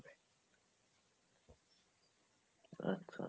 আচ্ছা